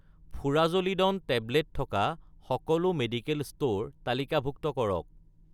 furazolidone tablet থকা সকলো medical store তালিকাভুক্ত কৰক